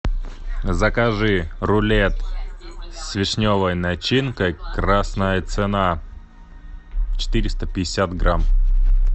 закажи рулет с вишневой начинкой красная цена четыреста пятьдесят грамм